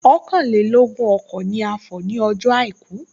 Ọ̀kànlélógún ọkọ̀ ni a fọ̀ nie ọjọ́ àìkú